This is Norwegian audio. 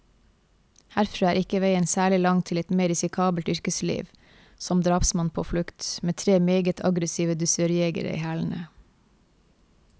Herfra er ikke veien særlig lang til et mer risikabelt yrkesliv, som drapsmann på flukt, med tre meget aggressive dusørjegere i hælene.